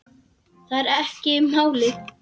Það er ekki málið.